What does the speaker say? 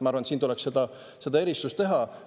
Ma arvan, et siin tuleks neid asju eristada.